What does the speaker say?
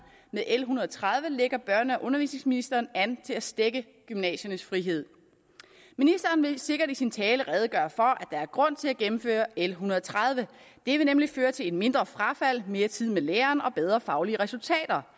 med l en hundrede og tredive lægger børne og undervisningsministeren an til at stække gymnasiernes frihed ministeren vil sikkert i sin tale redegøre for der er grund til at gennemføre l en hundrede og tredive det vil nemlig føre til et mindre frafald mere tid med læreren og bedre faglige resultater